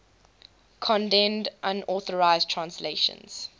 condemned unauthorized translations